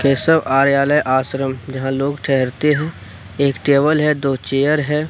केशव आर्यालय आश्रम जहां लोग ठहरते है एक टेबल है दो चेयर है।